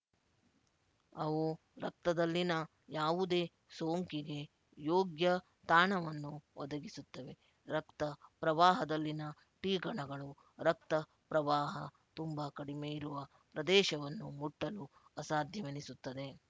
ಅವು ರಕ್ತದಲ್ಲಿನ ಯಾವುದೇ ಸೋಂಕಿಗೆ ಯೋಗ್ಯ ತಾಣವನ್ನು ಒದಗಿಸುತ್ತವೆ ರಕ್ತ ಪ್ರವಾಹದಲ್ಲಿನ ಟಿಕಣಗಳು ರಕ್ತಪ್ರವಾಹ ತುಂಬ ಕಡಿಮೆಯಿರುವ ಪ್ರದೇಶವನ್ನು ಮುಟ್ಟಲು ಅಸಾಧ್ಯವೆನಿಸುತ್ತದೆ